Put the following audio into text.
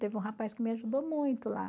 Teve um rapaz que me ajudou muito lá.